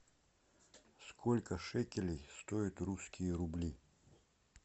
сколько шекелей стоят русские рубли